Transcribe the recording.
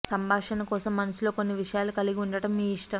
సంభాషణ కోసం మనసులో కొన్ని విషయాలు కలిగి ఉండటం మీ ఇష్టం